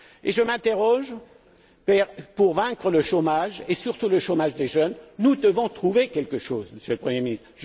Je m'interroge car, pour vaincre le chômage et surtout le chômage des jeunes, nous devons trouver quelque chose, Monsieur le Premier ministre.